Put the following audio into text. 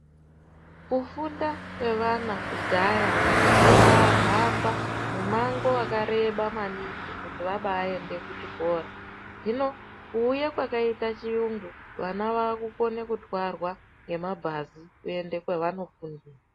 Kufunda kwevana kudhaya vanhu vayipahamba mango wakareba maningi kuto vabaende kuchikora. Zvino, kuwuya kwakaita chiungu, vana vakukone kuthwarwa ngemabhazi keyende kwavano fundaira.